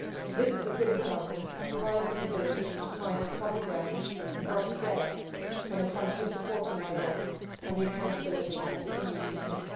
This is a good example of Parliament's ability to find common ground and work together when it comes to supporting my work and the accountability of the EU system.